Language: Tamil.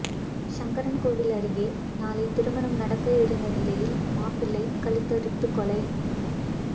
சங்கரன்கோவில் அருகே நாளை திருமணம் நடக்க இருந்த நிலையில் மாப்பிள்ளை கழுத்தறுத்துக் கொலை